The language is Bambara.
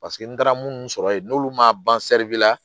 Paseke n taara minnu sɔrɔ yen n'olu ma ban la